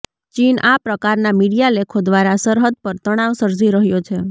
ચીન આ પ્રકારના મીડિયા લેખો દ્વારા સરહદ પર તણાવ સર્જી રહ્યો છે